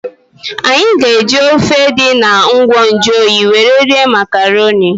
Anyị ga-eji ofe dị na ngwa nju oyi were rie makarọnị.